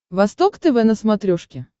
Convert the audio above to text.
восток тв на смотрешке